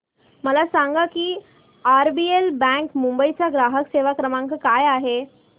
मला सांगा की आरबीएल बँक मुंबई चा ग्राहक सेवा क्रमांक काय आहे